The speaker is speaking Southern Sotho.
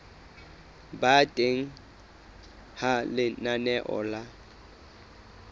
ba teng ha lenaneo la